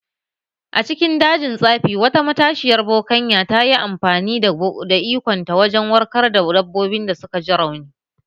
A cikin dajin tsafi, wata matashiyar bokanya ta yi amfani da ikonta wajen warkar da dabbobin da suka ji rauni